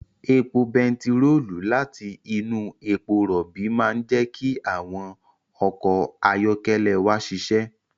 Epo bentiroolu láti inú epo rọ̀bì máa ń jẹ́ kí àwọn ọkọ̀ ayọ́kẹ́lẹ́ wa ṣiṣẹ́